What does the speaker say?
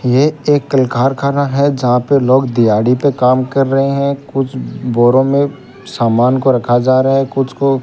ये एक किलकार खाना है यहां पे लोग दियाड़ी पे काम कर रहे हैं कुछ बोरों में सामान को रखा जा रहा है कुछ को --